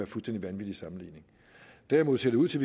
fuldstændig vanvittig sammenligning derimod ser det ud til